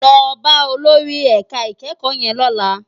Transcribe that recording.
Lò bá ólórì èká ikèékò yèn lòlá